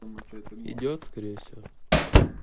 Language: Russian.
идет скорее всего